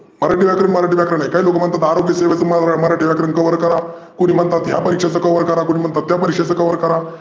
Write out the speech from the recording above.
मराठी व्याकरण मराठी व्याकरण आहे काही लोकं म्हणतात आरोग्य सेवा मध्ये मराठी व्याकरण कवर करा. कोणी म्हणत या परिक्षेचं cover करा, कोणी म्हनतं त्या परिक्षेचं cover करा.